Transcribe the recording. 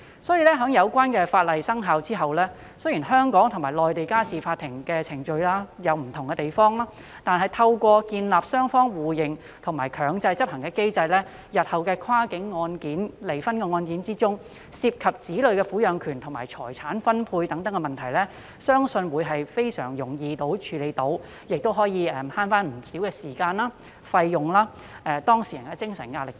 所以，有關法例生效後，雖然香港和內地的家事法律和程序有不同的地方，但透過建立雙方互認和強制執行的機制，日後的跨境離婚案件中涉及的子女撫養權和財產分配等問題，我相信將能非常容易地處理，亦可節省不少時間和費用，減輕當事人的精神壓力等。